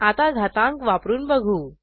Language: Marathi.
आता घातांक वापरून बघू